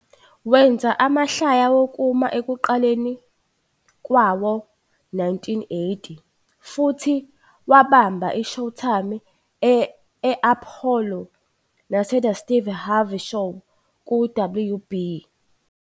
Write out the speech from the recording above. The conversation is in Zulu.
Wenza amahlaya wokuma ekuqaleni kwawo-1980 futhi wabamba "iShowtime e-Apollo" "naseThe Steve Harvey Show" ku -WB.